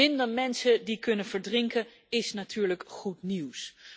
Minder mensen die kunnen verdrinken, is natuurlijk goed nieuws.